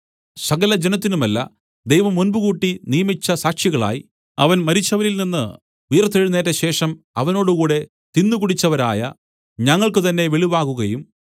സകല ജനത്തിനുമല്ല ദൈവം മുമ്പുകൂട്ടി നിയമിച്ച സാക്ഷികളായി അവൻ മരിച്ചവരിൽനിന്ന് ഉയിർത്തെഴുന്നേറ്റശേഷം അവനോടുകൂടെ തിന്നുകുടിച്ചവരായ ഞങ്ങൾക്കുതന്നെ വെളിവാകുകയും